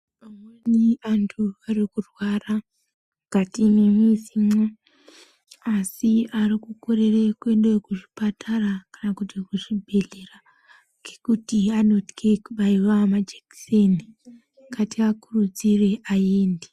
Imweni antu arikurwara mukati mwemuzimo asi arikukorere kuenda zvipatara kana kuti kuzvibhehlera ngekuti vanothe kubaiwa majekiseni ngatiakurudzire aeyende.